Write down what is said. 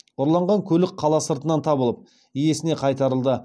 ұрланған көлік қала сыртынан табылып иесіне қайтарылды